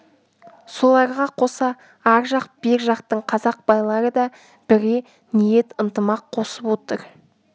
соларға қоса ар жақ бер жақтың қазақ байлары да бірге ниет ынтымақ қосып отыр